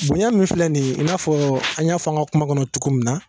Bonya min filɛ nin ye i n'a fɔ an y'a fɔ an ka kuma kɔnɔ cogo min na